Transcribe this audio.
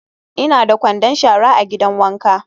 Ina da kwandon shara a gidan wanka.